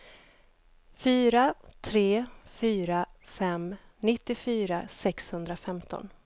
fyra tre fyra fem nittiofyra sexhundrafemton